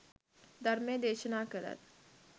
ධර්මය දේශනා කළත්